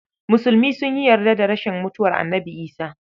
Musulmi sun yi yarda da rashin mutuwar Annabi Isah.